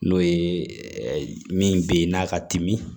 N'o ye min bɛ yen n'a ka timi